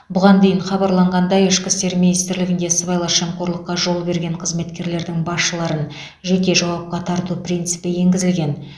бұған дейін хабарланғандай ішкі істер министрлігінде сыбайлас жемқорлыққа жол берген қызметкерлердің басшыларын жеке жауапқа тарту принципі енгізілген